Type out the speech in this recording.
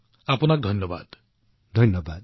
অশেষ ধন্যবাদ সুনীলজী